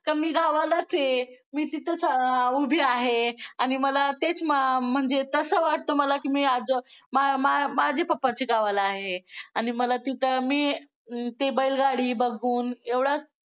तर मी गावालाच आहे. मी तिथं उभी आहे आणि मला तेच म्हणजे तसं वाटतं मला की मी आज माझ्या पप्पांच्या गावाला आहे आणि मला तिथं मी ती बैलगाडी बघून एवढं